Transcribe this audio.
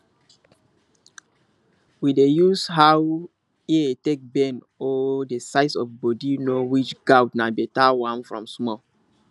we dey use how ear take bend or the size of body know which goat na better one from small